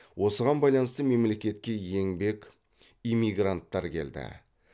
осыған байланысты мемлекетке еңбек эмигранттар келді